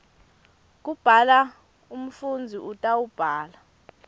kubhala umfundzi utawubhala